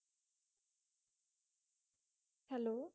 hello